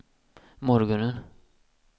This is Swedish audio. morgonen